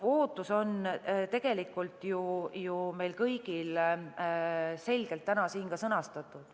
Ootus on ju tegelikult meile kõigile selgelt täna siin sõnastatud.